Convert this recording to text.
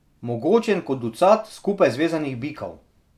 Mogočen kot ducat skupaj zvezanih bikov.